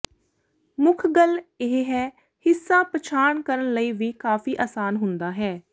ਮੁੱਖ ਗੱਲ ਇਹ ਹੈ ਹਿੱਸਾ ਪਛਾਣ ਕਰਨ ਲਈ ਵੀ ਕਾਫ਼ੀ ਆਸਾਨ ਹੁੰਦਾ ਹੈ